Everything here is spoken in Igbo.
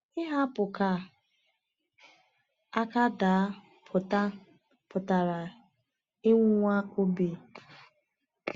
Ihapụ ka aka daa pụta pụtara ịnwụnwa obi.